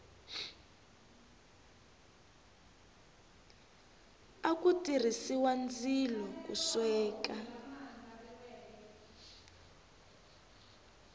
aku tirhisiwa ndzilo ku sweka